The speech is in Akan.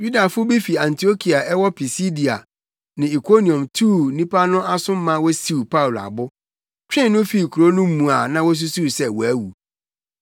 Yudafo bi fi Antiokia a ɛwɔ Pisidia ne Ikoniom tuu nnipa no aso maa wosiw Paulo abo, twee no fii kurow no mu a na wosusuw sɛ wawu.